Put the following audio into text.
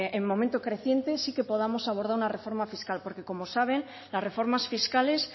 el momento creciente sí que podamos abordar una reforma fiscal porque como saben las reformas fiscales